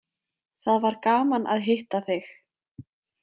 Það var gaman að hitta þig.